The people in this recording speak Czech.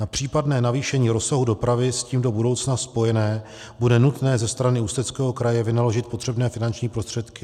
Na případné navýšení rozsahu dopravy s tím do budoucna spojené bude nutné ze strany Ústeckého kraje vynaložit potřebné finanční prostředky.